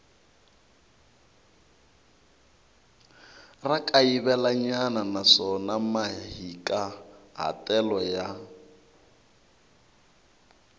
ra kayivelanyana naswona mahikahatelo ya